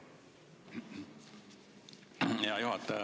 Hea juhataja!